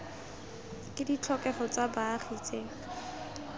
ke ditlhokego tsa baagi tse